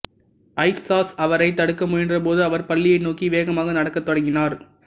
ஐட்ஸாஸ் அவரைத் தடுக்க முயன்றபோது அவர் பள்ளியை நோக்கி வேகமாக நடக்கத் தொடங்கினார்